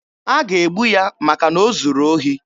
A ga-egbu ya maka na o zuru ohi.